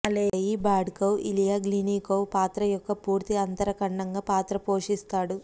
అలెయీ Bardukov Ilya Glinnikov పాత్ర యొక్క పూర్తి అంతరఖండంగా పాత్ర పోషిస్తాడు